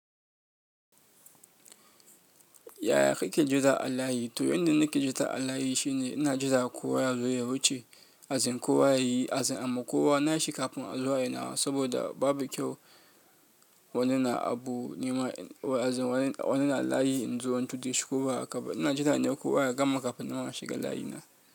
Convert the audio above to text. Yaya kake ji a layi? To yanda nake jira a layi shine ina jira kowa ya zo ya wuce, as in kowa yayi as in a ma kowa nashi kafin a zo ayi nawa saboda babu kyau wani na abu nima as in wani, wani na layi in zo in tude shi ko ba haka bane ina jira ne kowa ya gama kafin nima na shiga layina.